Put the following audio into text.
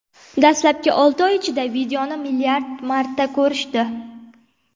Dastlabki olti oy ichida videoni milliard marta ko‘rishdi.